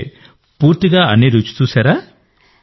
అంటే పూర్తిగా అన్ని విధాలుగా సెట్ చేశారా